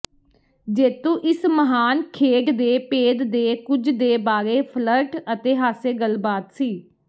ਜੇਤੂ ਇਸ ਮਹਾਨ ਖੇਡ ਦੇ ਭੇਦ ਦੇ ਕੁਝ ਦੇ ਬਾਰੇ ਫਲਰਟ ਅਤੇ ਹਾਸੇ ਗੱਲਬਾਤ ਸੀ